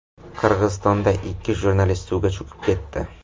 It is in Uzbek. Qirg‘izistonda ikki jurnalist suvga cho‘kib ketdi.